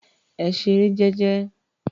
Ẹ ṣeré jẹ́jẹ́.